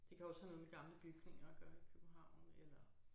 Det kan også have noget med gamle bygninger at gøre i København eller